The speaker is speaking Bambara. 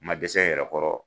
Ma dɛsɛ n yɛrɛ kɔrɔ.